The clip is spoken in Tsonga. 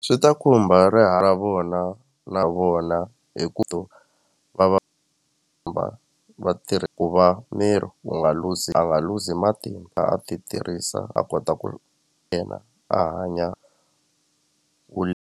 Swi ta khumba ra vona na vona hi ku va va vatirhi ku va miri wu nga luzi a nga luzi matimba a ti tirhisa a kota ku yena a hanya .